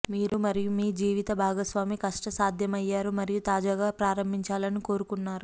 మీరు మరియు మీ జీవిత భాగస్వామి కష్టసాధ్యమయ్యారు మరియు తాజాగా ప్రారంభించాలని కోరుకున్నారు